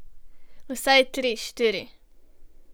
Vsaj tri, štiri.